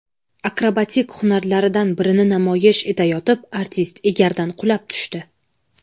Akrobatik hunarlaridan birini namoyish etayotib, artist egardan qulab tushdi.